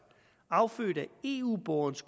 affødt af eu borgerens